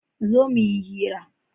zo muyi hira!